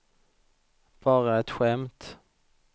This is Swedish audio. bara ett skämt